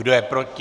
Kdo je proti?